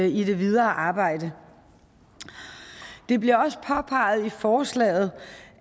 i det videre arbejde det bliver også påpeget i forslaget